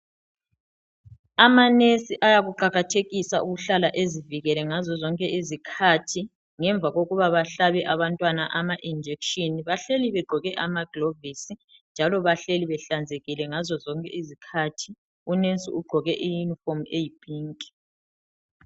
Amanesi ayakuqakathekisa ukuhlala ezivikele ngazozonke izikhathi. Ngemva kokuba bahlabe abantwana amajekiseni bahleli begqoke amagilavisi njalo bahleli behlanzekile ngazozonke izikhathi. Unesi ugqoke iyunifomi eyiphinki.